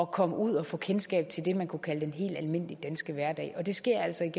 komme ud og få kendskab til det man kunne kalde den helt almindelige danske hverdag og det sker altså